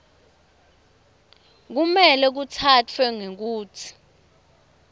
kumele kutsatfwe ngekutsi